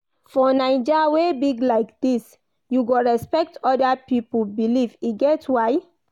For Naija wey big like dis, you go respect oda pipo belief, e get why.